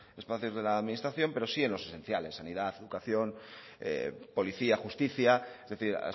espacios de la administración pero sí en los esenciales sanidad educación policía justicia es decir